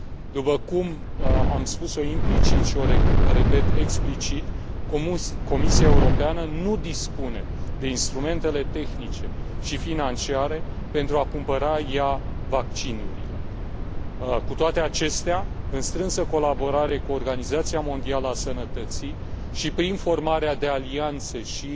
După cum am spus o implicit și o repet explicit, Comisia Europeană nu dispune de instrumentele tehnice și financiare pentru a cumpăra ea vaccinurile. Cu toate acestea, în strânsă colaborare cu Organizația Mondială a Sănătății și prin formarea de alianțe și